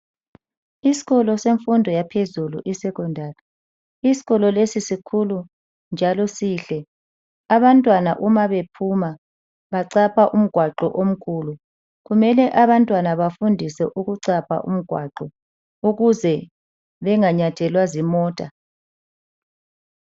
Isikolo senfundo yaphezulu I secondary, isikolo lesi sikhulu njalo sihle. Abantwana uma bephuma bachapha umgwaqo omkhulu . Kumele abantwana bafundiswe ukuchapha umgwaqo ukuze benganyathelwa zimota.